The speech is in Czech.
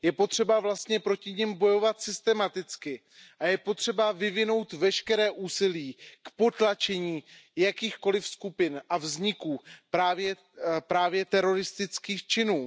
Je potřeba proti nim bojovat systematicky a je potřeba vyvinout veškeré úsilí k potlačení jakýchkoliv skupin a vzniku právě teroristických činů.